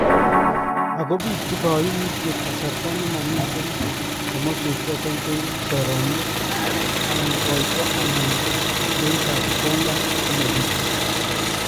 Ako bituu kaimutyeet kasarta nemamiten komasweek choton cheu soroomyeet, anan koyto anan kiyooitab kondaa komabituu